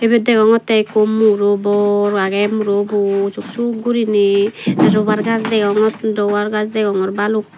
ibet degongottey ikko muro bor agey murobo suk suk gurinei robar gaz deongot robar deongor baluk.